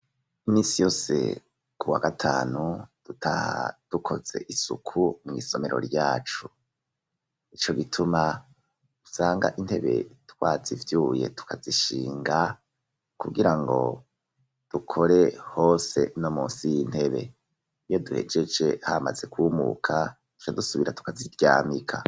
Imisi yose ku wa gatanu dutaha dukoze isuku mw,isomero ryacu ,nico gituma usanga intebe twazivyuye tukazishinga kugira ngo dukore hose no munsi y'intebe ,iyo duhejeje hamaze kumuka tucadusubira tukaziryamika.